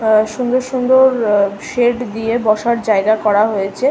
অ্যা অ্যা সুন্দর সুন্দর অ অ সেড দিয়ে বসার জায়গা করা হয়েছে।